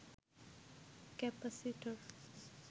capacitor